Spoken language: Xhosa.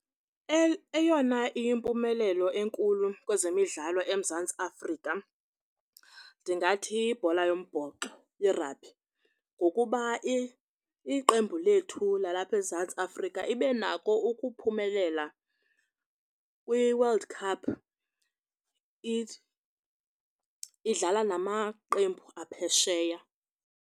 Eyona iyimpumelelo enkulu kwezemidlalo eMzantsi Afrika ndingathi yibhola yombhoxo iragbhi ngokuba iqembu lethu lalapha eMzantsi Afrika ibe nako ukuphumelela kwiWorld Cup idlala namaqembu aphesheya.